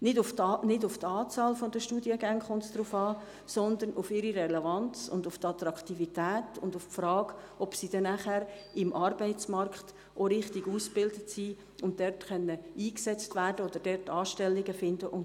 Nicht auf die Anzahl der Studiengänge kommt es an, sondern auf deren Relevanz und Attraktivität sowie auf die Frage, ob diese nachher im Arbeitsmarkt auch richtig ausgebildet sind, um dort eingesetzt zu werden und Anstellungen zu finden.